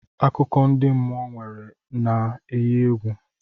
Akụkọ ndị mmụọ nwere na-enyi egwu.